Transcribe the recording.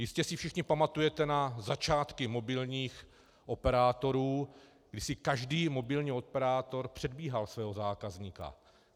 Jistě si všichni pamatujete na začátky mobilních operátorů, kdy si každý mobilní operátor předbíhal svého zákazníka.